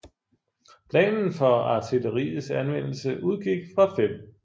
Planen for artilleriets anvendelse udgik fra 5